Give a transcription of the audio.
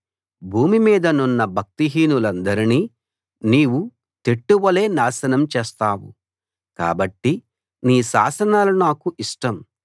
భూమిమీదనున్న భక్తిహీనులనందరినీ నీవు తెట్టువలె నాశనం చేస్తావు కాబట్టి నీ శాసనాలు నాకు ఇష్టం